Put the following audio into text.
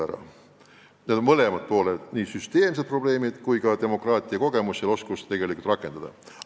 Tähendab, mängus on mõlemad tegurid: nii süsteemsed probleemid kui ka vähesed kogemused demokraatia rakendamisel.